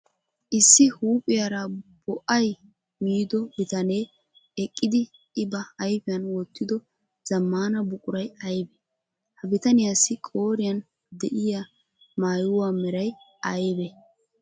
Issi huuphiyara bo'ay miido bitanee eqidi I ba ayfiyan wotido zamaana buquray aybee? Ha bitaniyaasi qooriyan de'iyaa maayuwa meray aybee?